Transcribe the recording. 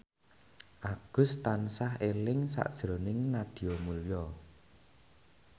Agus tansah eling sakjroning Nadia Mulya